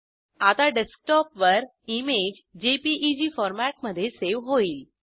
आता डेस्कटॉपवर image JPEG फॉरमॅट्मध्ये सेव होईल